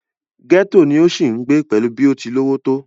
gẹ́tò ni ó ń sì ń gbé pẹ̀lú bó ti lówó tó